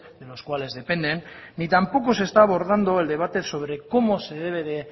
de las cuales dependen ni tampoco se está abordando sobre cómo se debe